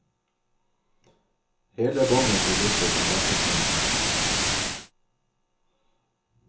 Hele båndet blir borte fra datastrømmen.